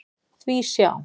Því sjá!